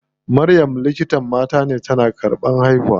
Maryam likitan mata ce, tana karɓan haihuwa.